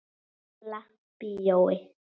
Gamla bíói.